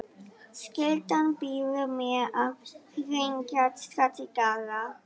Skyldan býður mér að hringja strax í Garðar.